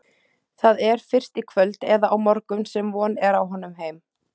Það er fyrst í kvöld eða á morgun sem von er á honum heim.